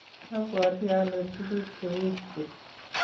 abwoti ale tukucheguk chu